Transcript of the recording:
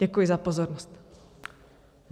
Děkuji za pozornost.